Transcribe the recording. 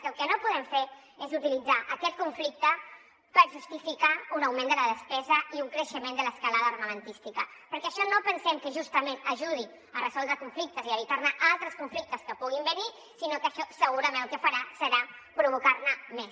el que no podem fer és utilitzar aquest conflicte per justificar un augment de la despesa i un creixement de l’escalada armamentística perquè això no pensem que justament ajudi a resoldre conflictes i a evitar altres conflictes que puguin venir sinó que segurament el que farà serà provocar·ne més